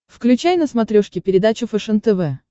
включай на смотрешке передачу фэшен тв